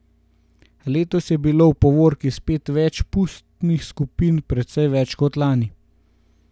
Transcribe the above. Letos je bilo v povorki spet več pustnih skupin, precej več kot lani.